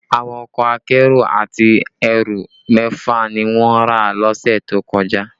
Àwọn ọkọ akérò àti ẹrù mẹ́fà ni wọ́n rà lọ́sẹ̀ tó kọjá